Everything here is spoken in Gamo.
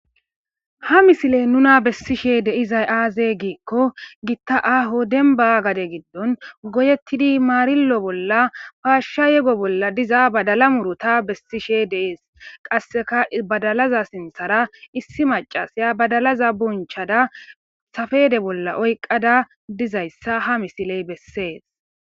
Ha misiley nuna bessishe deizay aaze giikko gitta aho denba gade giddon goyettidi maarillo bolla paashsha yego bolla diza badala murota bessishe deees qasseka badalaza sinthara issi macasya badalaza bunchada safede bolla oyqqada dizayssa ha misiley bessees.